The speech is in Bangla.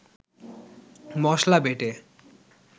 মসলা বেটে